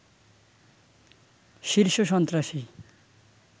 শীর্ষ সন্ত্রাসী